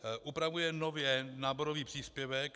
Upravuje nově náborový příplatek.